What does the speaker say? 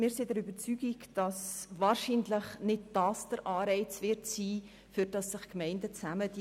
Wir sind der Überzeugung, dass wahrscheinlich nicht der Kantonsbeitrag den Anreiz bildet, weshalb sich Gemeinden zusammentun.